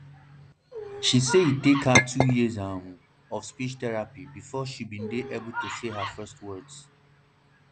she say e take her two years um of um speech therapy before she dey able to say her first words